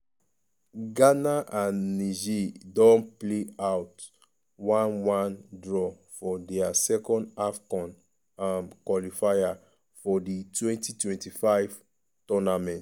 ghana and niger don play out 1-1 draw for dia second afcon um qualifier for di 2025 tournament.